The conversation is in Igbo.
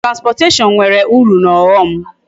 Transportation nwere uru na aghom